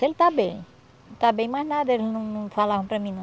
Ele está bem, está bem, mas nada, eles não não falavam para mim, não.